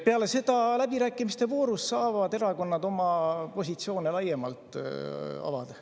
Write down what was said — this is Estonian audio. Peale seda, läbirääkimiste voorus saavad erakonnad oma positsioone laiemalt avada.